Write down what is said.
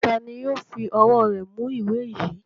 Ta ni yóò fi ọwọ́ rẹ̀ mú ìwé yìí?